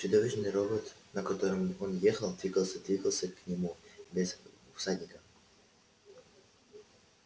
чудовищный робот на котором он ехал двигался двигался к нему без всадника